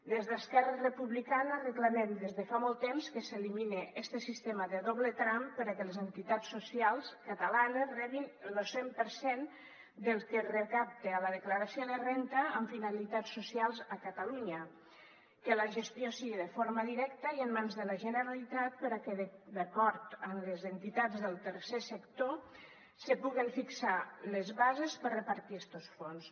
des d’esquerra republicana reclamem des de fa molt temps que s’elimine este sistema de doble tram perquè les entitats socials catalanes rebin lo cent per cent del que es recapta a la declaració de renda amb finalitats socials a catalunya que la gestió sigui de forma directa i en mans de la generalitat perquè d’acord amb les entitats del tercer sector se puguen fixar les bases per a repartir estos fons